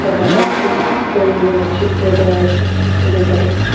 এখানে একটি ফুল দোকানের চিত্র দেওয়া আছে যেখানে--